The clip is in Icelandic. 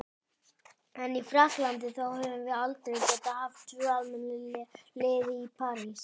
En í Frakklandi, þá höfum við aldrei getað haft tvö almennileg lið í París.